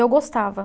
Eu gostava.